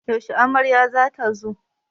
Yashe amaryar za ta zo?